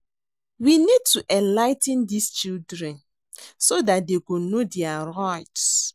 We need to enligh ten dis children so dat dey go know their rughts